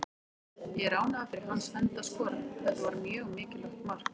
Ég er ánægður fyrir hans hönd að skora, þetta var mjög mikilvægt mark.